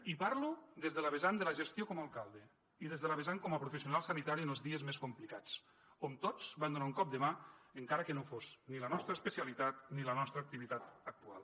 i parlo des de la vessant de la gestió com a alcalde i des de la vessant com a professional sanitari en els dies més complicats on tots vam donar un cop de mà encara que no fos ni la nostra especialitat ni la nostra activitat actual